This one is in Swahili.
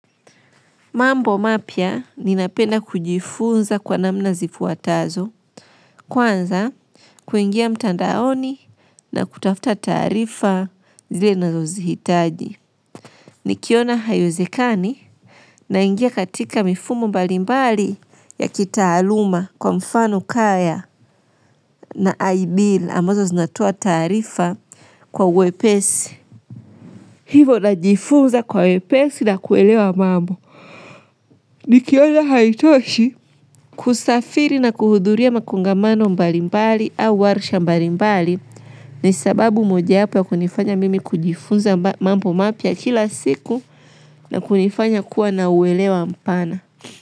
Mambo mapya ninapenda kujifunza kwa namna zifuatazo. Kwanza, kuingia mtandaoni na kutafta taarifa zile nazozihitaji. Nikiona haiwezekani, naingia katika mifumo mbalimbali ya kitaaluma kwa mfano kaya. Na i-bill ambazo zinatoa taarifa kwa wepesi. Hivo najifunza kwa wepesi na kuelewa mambo. Nikiona haitoshi kusafiri na kuhudhuria makongamano mbalimbali au warisha mbalimbali, ni sababu mojawapo ya kunifanya mimi kujifunza mambo mapya kila siku, na kunifanya kuwa na uwelewa mpana.